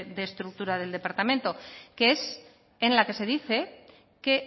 de estructura del departamento que es en la que se dice que